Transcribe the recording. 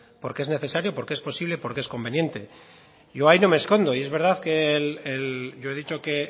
porque es necesario porque es posible y porque es conveniente yo ahí no me escondo y es verdad que yo he dicho que